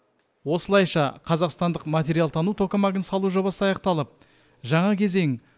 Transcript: осылайша қазақстандық материалтану токамагын салу жобасы аяқталып жаңа кезең